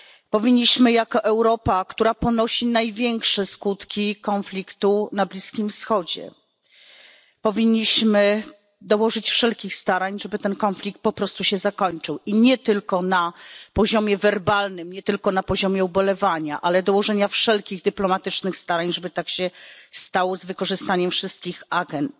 Powinniśmy jako Europa, która ponosi największe skutki konfliktu na Bliskim Wschodzie, dołożyć wszelkich starań, żeby ten konflikt po prostu się zakończył i nie tylko na poziomie werbalnym, nie tylko na poziomie ubolewania, ale dołożenia wszelkich dyplomatycznych starań, żeby tak się stało z wykorzystaniem wszystkich agend.